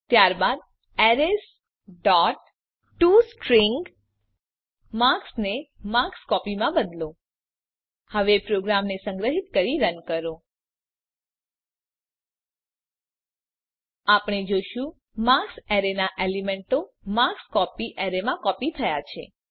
ત્યારબાદ arrays dot to string માં marks ને માર્ક્સ કોપી માં બદલો હવે પ્રોગ્રામને સંગ્રહીત કરી રન કરો આપણે જોશું કે માર્ક્સ એરેનાં એલીમેન્તો માર્કસ્કોપી એરેમાં કોપી થયા છે